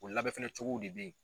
O labɛn fɛnɛ cogow de bɛ ye.